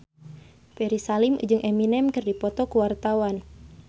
Ferry Salim jeung Eminem keur dipoto ku wartawan